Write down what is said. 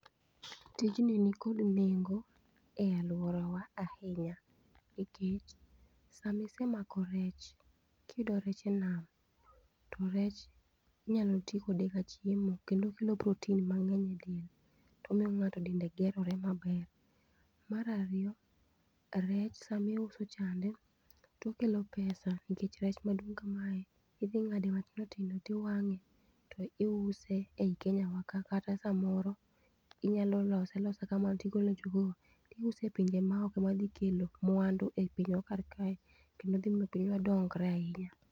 Tijni nikod nengo e aluora wa ahinya nikech sama isemako rech kiyudo rech e enam to rech inyalo tii kode ka chiemo kendo okelo protein mangeny e del tomiyo ng'ato dende gerore maber. Mar ariyo rech sama iuso chand etokelo pesa nikech rech maduong kamae idhi ngade matindo tindo tiwange tiuse ei Kenya wa ka kata samoro inyalo lose alosa kamano tigole tiuse e pinje maoko madhi kelo mwandu e pinywa kar kae kendo miyo pinywa dongre ahinya